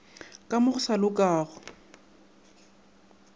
ka mo go sa lokago